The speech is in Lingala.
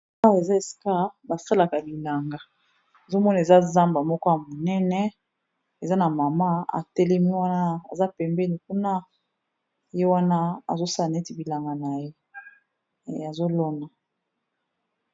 Awa eza ésika basalaka bilanga nazomona eza zamba moko ya monéné , eza na mama atélemi wana, aza pembéni kuna, ye wana azosala néti bilanga na ye, azolona.